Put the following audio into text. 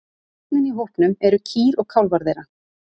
Kjarninn í hópnum eru kýr og kálfar þeirra.